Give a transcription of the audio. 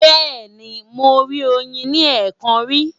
Bẹ́ẹ̀ni, mo rí oyin ní ẹ̀ẹ̀kan rí.